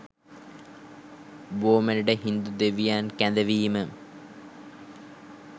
බෝ මැඩට හින්දු දෙවියන් කැඳවීම